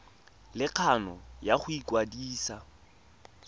le kgano ya go ikwadisa